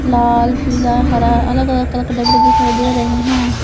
लाल पीला हरा अलग अलग कलर डब्बे दिखाई दे रहे हैं।